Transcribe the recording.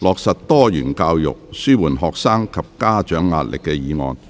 "落實多元教育紓緩學生及家長壓力"議案。